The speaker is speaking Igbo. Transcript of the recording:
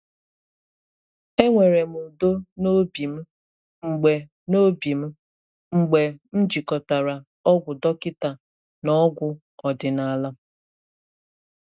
E nwere m udo n’obi m mgbe n’obi m mgbe m jikọtara ọgwụ dọkịta na ọgwụ ọdinala.